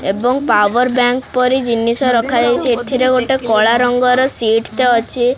ଏବଂ power bank ପରି ଜିନିଷ ରଖା ଯାଇଚି ଏଥିରେ ଗୋଟେ କଳା ରଙ୍ଗ ର ସିଟ୍ ଟେ ଅଛି।